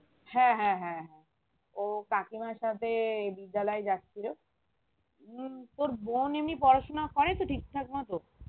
হ্যাঁ হ্যাঁ হ্যাঁ হ্যাঁ ও কাকিমার সাথে বিদ্যালয় যাচ্ছিলো উম তোর বোন এমনি পড়াশুনা করে তো ঠিক থাকে মতো?